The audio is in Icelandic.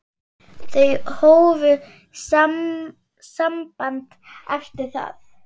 Þau hófu samband eftir það.